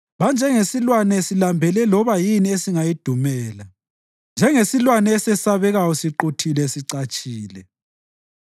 Banjengesilwane silambele loba yini esingayidumela, njengesilwane esesabekayo siquthile sicatshile.